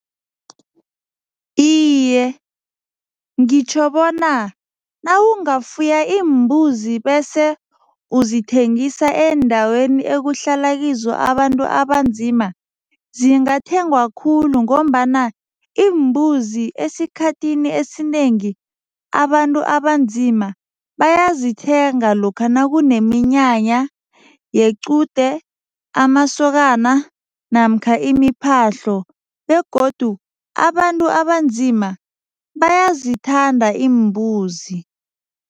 Iye, ngitjho bona nawungafuya iimbuzi bese uzithengisa eendaweni ekuhlala kizo abantu abanzima, zingathengwa khulu ngombana iimbuzi esikhathini esinengi, abantu abanzima bayazithenga lokha nakuneminyanya yequde, amasokana namkha imiphahlo begodu abantu abanzima bayazithanda iimbuzi.